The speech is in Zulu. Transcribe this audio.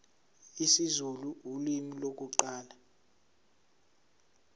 isizulu ulimi lokuqala